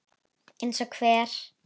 Eins og hver?